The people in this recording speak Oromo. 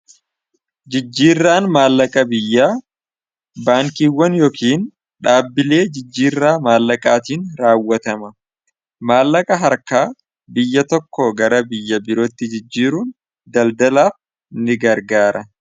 jijjiirraan maallaka biyya baankiiwwan yookiin dhaabbilee jijjiirraa maallaqaatiin raawwatama. Maallaqa harkaa biyya tokko gara biyya birootti jijjiiruun daldalaaf ni gargaara.